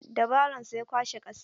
Da baron sa ya kwashe ƙasa.